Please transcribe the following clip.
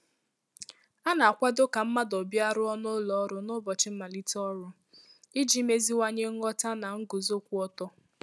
A na-akwàdo ka mmadụ bịaruo n’ụlọ ọrụ n’ụbọchị mmalite ọrụ, iji meziwanye nghọ̀tà na nguzo kwụ ọtọ.